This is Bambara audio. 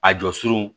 A jɔ surunw